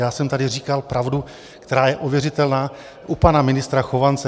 Já jsem tady říkal pravdu, která je ověřitelná u pana ministra Chovance.